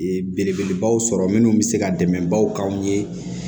Belebelebaw sɔrɔ minnu bɛ se ka dɛmɛ baw k'anw ye